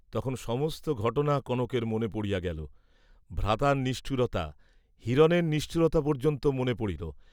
তখন সমস্ত ঘটনা কনকের মনে পড়িয়া গেল, ভ্রাতার নিষ্ঠুরতা, হিরণের নিষ্ঠুরতা পর্য্যন্ত মনে পড়িল।